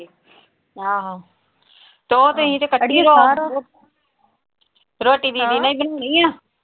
ਆਹੋ ਤੇ ਉਹ ਤੁਸੀਂ ਰੋਟੀ ਬਣਾਉਣੀ ਆਂ?